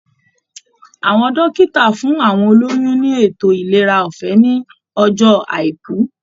Àwọn dókítà fún àwọn olóyún ní ètò ìlera ọfẹ ní ọjọ àìkú